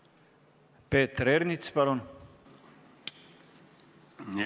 Peeter Ernits, palun!